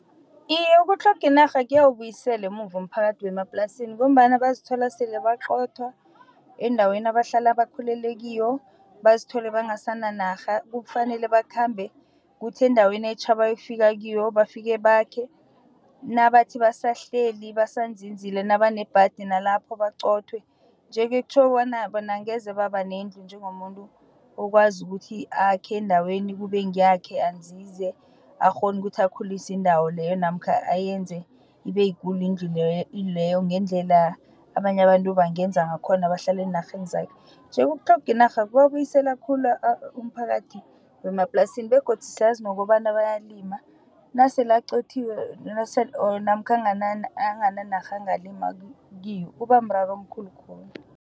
Iye, ukutlhoga inarha kuyayibuyisele emuva umphakathi wemaplasini ngombana bazithola sele baqothwa eendaweni abahlala bakhulele kiyo, bazithole bangasana narha. Kufanele bakhambe kuthi endaweni etjha abayokufika kiyo bafike bakhe. Nabathi basahleli basazinzile nabanebhadi nalapho baqothwe. Nje-ke kutjho bona, bona angeze baba nendlu njengomuntu okwazi ukuthi akhe endaweni kube ngeyakhe azinze akghone ukuthi akhulise indawo leyo namkha ayenze ibeyikulu indlu leyo ngendlela abanye abantu bangenza ngakhona bahlale eenarheni zakhe. Nje ukutlhoga inarha kubuyisela khulu umphakathi wemaplasini begodu siyazi nokobana bayalima nasele aqothiwe namkha angana narha angalima kiyo kubamraro omkhulu khulu.